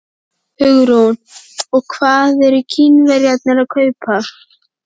Hugrún: Og hvað eru Kínverjarnir að kaupa?